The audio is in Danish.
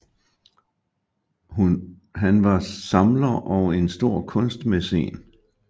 Han var samler og en stor kunstmæcen